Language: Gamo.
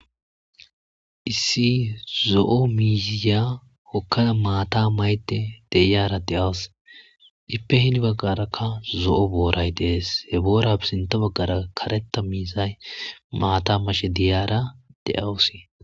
issi zo7o miisiya hokkaa maata mayde deyaara de7awus dippe hini baggarakka zo7o booray dees he boora pisinta baggara kareta miizay maata mashe diyaara de7awusi